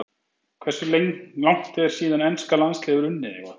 Hversu langt er síðan enska landsliðið hefur unnið eitthvað?